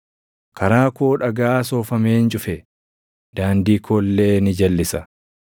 Karaa koo dhagaa soofameen cufe; daandii koo illee ni jalʼisa.